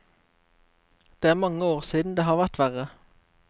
Det er mange år siden det har vært verre.